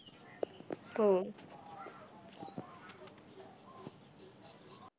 हो.